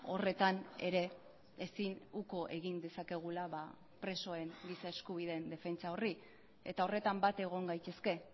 horretan ere ezin uko egin dezakegula presoen giza eskubideen defentsa horri eta horretan bat egon gaitezke